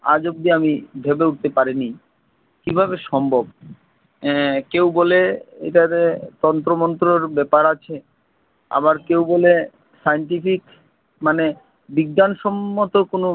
আজ অব্দি আমি ভেবে উঠতে পারিনি কীভাবে সম্ভব! এর কেউ বলে এটার তন্ত্রমন্ত্রর ব্যাপার আছে, আবার কেউ বলে scientific মানে বিজ্ঞানসম্মত কোনো